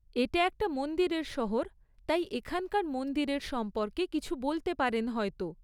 এটা একটা মন্দিরের শহর তাই এখানকার মন্দিরের সম্পর্কে কিছু বলতে পারেন হয়তো।